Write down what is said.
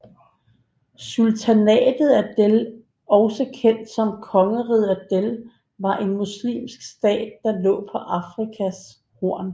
Sultanatet Adel også kendt som kongeriget Adel var en muslimsk stat der lå på Afrikas Horn